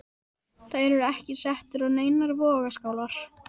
Þær eru ekki settar á neinar vogarskálar.